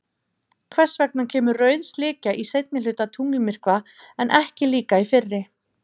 Hvers vegna kemur rauð slikja í seinni hluta tunglmyrkva en ekki líka í fyrri?